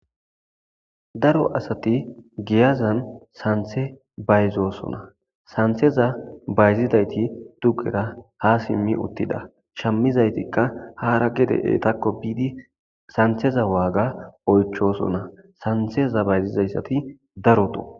Daro asati giyazan sanththe bayzosona. Sanththeza bayzidayti dugera ha simmi uttida. Shammizaytikka haara gede eetakko biidi santheza waaga oychosona santeza bayzizayssati darokko.